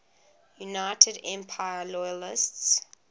united empire loyalists